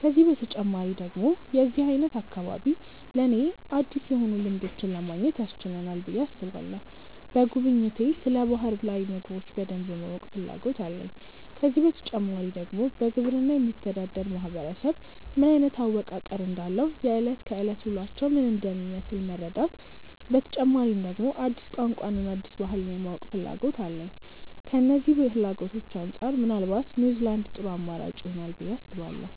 ከዚህ በተጨማሪ ደግሞ የዚህ አይነት አካባቢ ለኔ አዲስ የሆኑ ልምዶችን ለማግኘት ያስችለናል ብዬ አስባለሁ። በጉብኝቴ ስለ ባህር ላይ ምግቦች በደንብ የማወቅ ፍላጎት አለኝ። ከዚህ በተጨማሪ ደግሞ በግብርና የሚተዳደር ማህበረሰብ ምን አይነት አወቃቀር እንዳለው፣ የእለት ከእለት ውሎአቸው ምን እንደሚመስል መረዳት፤ በተጨማሪ ደግሞ አዲስ ቋንቋን እና አዲስ ባህልን የማወቅና ፍላጎት አለኝ። ከነዚህ ፍላጎቶቼ አንጻር ምናልባት ኒውዝላንድ ጥሩ አማራጭ ይሆናል ብዬ አስባለሁ።